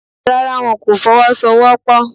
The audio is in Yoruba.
Rárá, wọn kò Fọwọ́sowọ́pọ̀